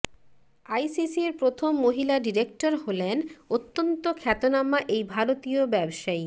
আইসিসির প্রথম মহিলা ডিরেক্টর হলেন অত্যন্ত খ্যাতনামা এই ভারতীয় ব্যবসায়ী